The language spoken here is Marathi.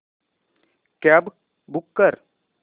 कॅब बूक कर